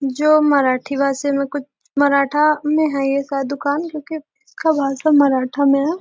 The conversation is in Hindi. जो मराठी भाषा में कुछ मराठा में है ऐसा दुकान क्यूंकि उसका भाषा मराठा में है।